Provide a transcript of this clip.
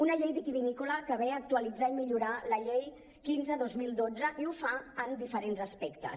una llei vitivinícola que ve a actualitzar i millorar la llei quinze dos mil dotze i ho fa en diferents aspectes